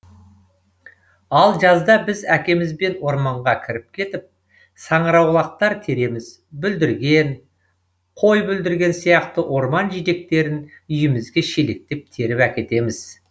ал жазда біз әкемізбен орманға кіріп кетіп саңырауқұлақтар тереміз бүлдірген қойбүлдірген сияқты орман жидектерін үйімізге шелектеп теріп әкетеміз